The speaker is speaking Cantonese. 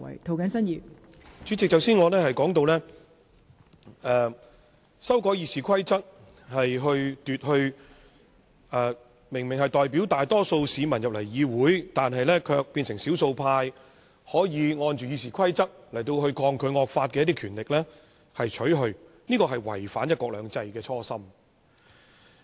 代理主席，我剛才說到，修改《議事規則》會把明明代表大多數市民進入議會、卻變成少數派的議員根據《議事規則》抗拒惡法的權力剝奪，而這是違反"一國兩制"的初心。